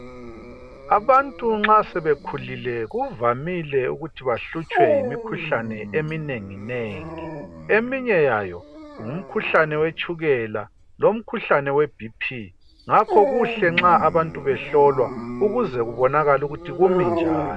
Abantu nxa sebekhulile ,kuvamile ukuthi bahlutshwe yimikhuhlane eminengi nengi. Eminye yayo , ngumkhuhlane yetshukela lomkhuhlane we BP .Ngakho kuhle nxa abantu behlolwa ukuze kubonakale ukuthi kumi njani.